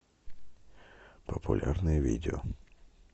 популярные видео